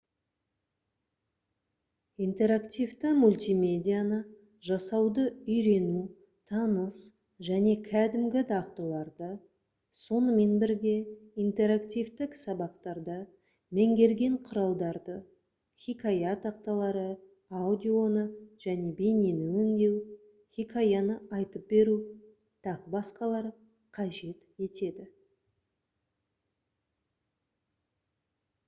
интерактивті мультимедианы жасауды үйрену таныс және кәдімгі дағдыларды сонымен бірге интерактивтік сабақтарда меңгерген құралдарды хикая тақталары аудионы және бейнені өңдеу хикаяны айтып беру т.б. қажет етеді